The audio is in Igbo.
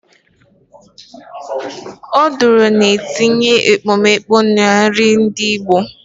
Oduru na-etinye ekpomeekpo na nri ndị igbo